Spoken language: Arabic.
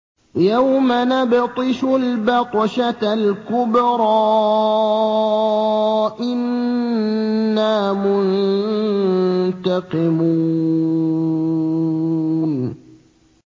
يَوْمَ نَبْطِشُ الْبَطْشَةَ الْكُبْرَىٰ إِنَّا مُنتَقِمُونَ